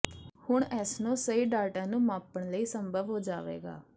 ਹੁਣ ਇਸ ਨੂੰ ਸਹੀ ਡਾਟਾ ਨੂੰ ਮਾਪਣ ਲਈ ਸੰਭਵ ਹੋ ਜਾਵੇਗਾ